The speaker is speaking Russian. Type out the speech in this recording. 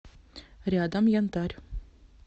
рядом янтарь